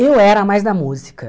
Eu era mais da música.